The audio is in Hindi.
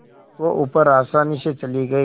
वह ऊपर आसानी से चली गई